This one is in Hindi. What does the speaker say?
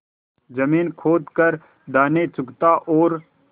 जमीन खोद कर दाने चुगता और